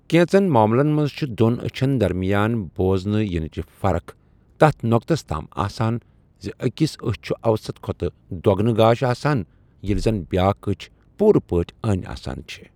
کینٛژن معملن منٛز چھےٚ دۄن أچھن درمِیان بوزنہٕ یِنٕچہِ فرق تتھ نو٘كتس تام آسان زِ أکِس أچھ چُھ اَوسط کھۄتہٕ دۄ٘گنہٕ گاش آسان ییٚلہِ زن بیٛاکھ أچھ پوٗرٕ پٲٹھہِ أنی آسان چھےٚ ۔